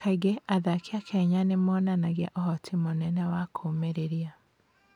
Kaingĩ athaki a Kenya nĩ monanagia ũhoti mũnene wa kũũmĩrĩria.